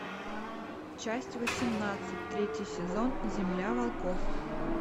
часть восемнадцать третий сезон земля волков